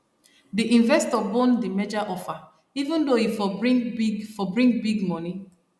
di investor bone the merger offereven though e for bring big for bring big money